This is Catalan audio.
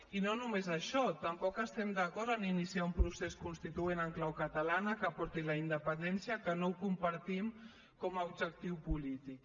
i no només això tampoc estem d’acord a iniciar un procés constituent en clau catalana que porti a la independència que no ho compartim com a objectiu polític